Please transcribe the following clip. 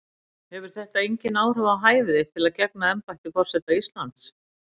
Hefur þetta engin áhrif á hæfi þitt til að gegna embætti forseta Íslands?